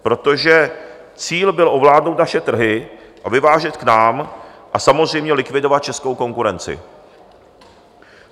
Protože cíl byl ovládnout naše trhy a vyvážet k nám a samozřejmě likvidovat českou konkurenci.